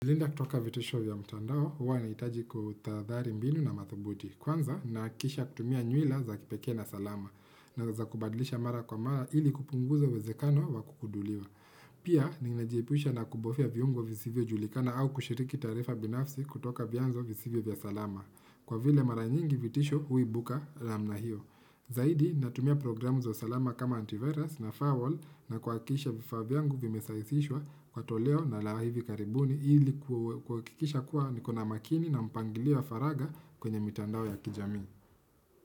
Kujilinda kutoka vitisho vya mtandao, huwa nahitaji kutahadhari mbinu na mathubuti. Kwanza, nahahakikisha kutumia nywila za kipeke na salama. Naweza kubadlisha mara kwa mara ili kupunguza uwezekano wa kudukuliwa. Pia, ninajiepusha na kubofya viungo visivyo julikana au kushiriki taarifa binafsi kutoka vyanzo visivyo vya salama. Kwa vile mara nyingi vitisho huibuka namna hiyo. Zaidi, natumia programu za salama kama antivirus na firewall na kuhakikisha vifaa vyangu vimesaisishwa kwa toleo la hivi karibuni ili kuhakikisha kuwa niko na makini na mpangilio wa faragha kwenye mitandao ya kijamii.